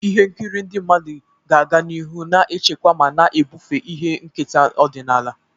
Ihe nkiri ndị mmadụ ga-aga n'ihu na-echekwa ma na-ebufe ihe nketa ọdịnala.